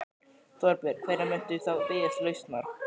Þorbjörn: Hvenær muntu þá biðjast lausnar?